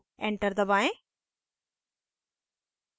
enter दबाएं